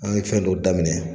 An ye fɛn dɔ daminɛ